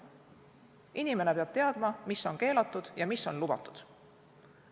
Inimene peab teadma, mis on keelatud ja mis on lubatud.